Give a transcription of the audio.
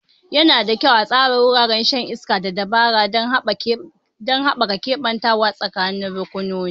Yana da kyau a tsara wuraren shan iska da dabara don haɓaka keɓantawa tsakanin rukunonin.